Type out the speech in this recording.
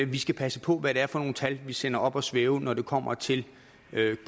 vi skal passe på hvad det er for nogle tal vi sender op at svæve når det kommer til